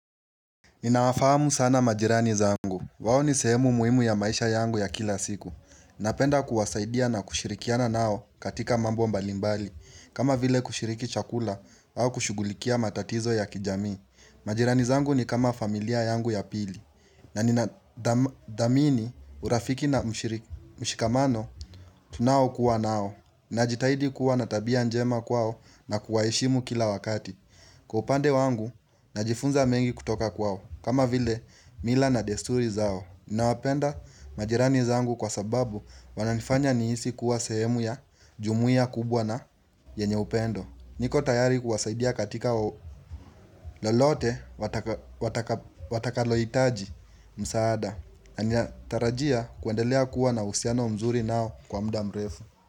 Ninawafahamu sana majirani zangu wao ni sehemu muhimu ya maisha yangu ya kila siku Napenda kuwasaidia na kushirikiana nao katika mambo mbalimbali kama vile kushiriki chakula au kushugulikia matatizo ya kijami majirani zangu ni kama familia yangu ya pili na nina dhadhamini urafiki na mshikamano Tunaokua nao najitahidi kuwa na tabia njema kwao na kuwaheshimu kila wakati Kwa upande wangu Najifunza mengi kutoka kwao kama vile mila na desturi zao, ninawapenda majirani zangu kwa sababu wananifanya nihisi kuwa sehemu ya jumuia kubwa na yenye upendo niko tayari kuwasaidia katika lolote wataka wataka watalohitaji msaada ninatarajia kuendelea kuwa na uhusiano mzuri nao kwa muda mrefu.